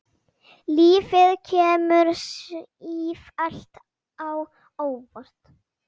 Lífið kemur sífellt á óvart.